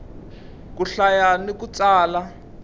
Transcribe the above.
ku hlaya ni ku tsala